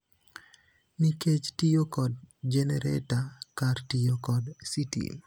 nikech tiyo kod jenereta kar tiyo kod sitima.